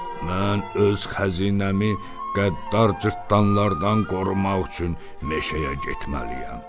Mən öz xəzinəmi qəddar cırtdanlardan qorumaq üçün meşəyə getməliyəm.